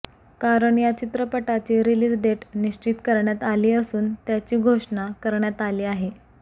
कारण या चित्रपटाची रिलीज डेट निश्चित करण्यात आली असून त्याची घोषण करण्यात आली आहे